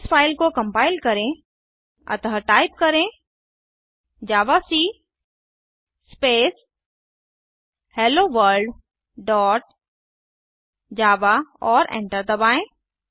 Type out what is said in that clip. इस फ़ाइल को कम्पाइल करें अतः टाइप करें javac space hello world dot java और एंटर दबाएँ